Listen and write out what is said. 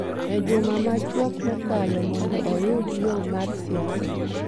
e juma machuok mokalo mondo oyud yo mar siasa